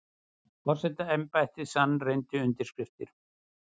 Forsetaembættið sannreyndi undirskriftir